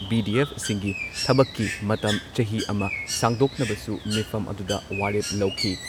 ꯚꯤ.ꯗꯤ.ꯑꯦꯐꯁꯤꯡꯒꯤ ꯊꯕꯛꯀꯤ ꯃꯇꯝ ꯆꯍꯤ ꯑꯃ ꯁꯥꯡꯗꯣꯛꯅꯕꯁꯨ ꯃꯤꯐꯝ ꯑꯗꯨꯗ ꯋꯥꯔꯦꯞ ꯂꯧꯈꯤ ꯫